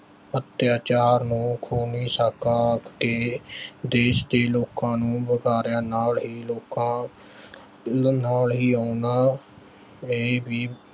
ਅੱਤਿਆਚਾਰ ਨੂੰ ਖੂਨੀ ਸਾਕਾ ਤੇ ਦੇਸ਼ ਦੇ ਲੋਕਾਂ ਨੂੰ ਵੰਗਾਰਿਆ। ਨਾਲ ਹੀ ਲੋਕਾਂ, ਨਾਲ ਹੀ ਉਹਨਾਂ ਨੇ ਵੀ